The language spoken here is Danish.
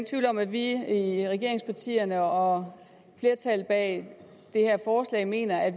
tvivl om at vi i regeringspartierne og flertallet bag det her forslag mener at